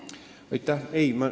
Aitäh!